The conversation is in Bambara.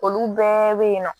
Olu bɛɛ bɛ yen nɔ